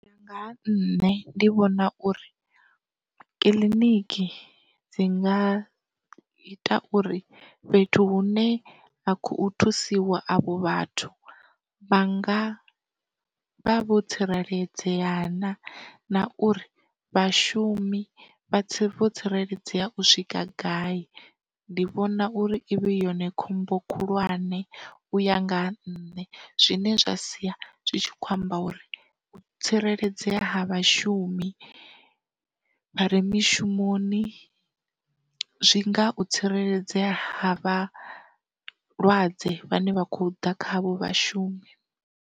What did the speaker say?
U ya nga ha nṋe ndi vhona uri, kiḽiniki dzi nga ita uri fhethu hune ha khou thusiwa avho vhathu vha nga vha vho tsireledzea na, na uri vhashumi vha vho tsireledzea u swika gai, ndi vhona uri i vhe yone khombo khulwane uya ngaha nṋe zwine zwa sia zwi tshi khou amba uri u tsireledzea ha vhashumi vha re mishumoni zwi nga u tsireledzea ha vhalwadze vhane vha khou ḓa kha avho vhashumi.